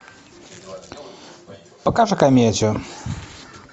покажи комедию